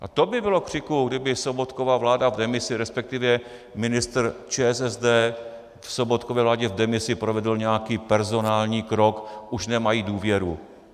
A to by bylo křiku, kdyby Sobotkova vláda v demisi, respektive ministr ČSSD v Sobotkově vládě v demisi provedl nějaký personální krok, už nemají důvěru.